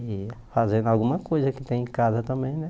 E fazendo alguma coisa que tem em casa também, né?